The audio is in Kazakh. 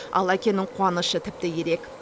ал әкенің қуанышы тіпті ерек